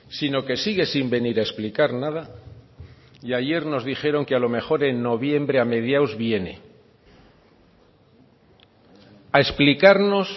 sino que sigue sin venir a explicar nada y ayer nos dijeron que a lo mejor en noviembre a mediados viene a explicarnos